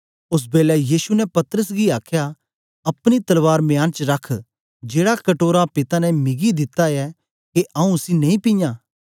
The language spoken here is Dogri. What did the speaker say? ओस बेलै यीशु ने पतरस गी आखया अपनी तलवार मियान च रख जेड़ा कटोरा पिता ने मिगी दिता ऐ के आऊँ उसी नेई पीयां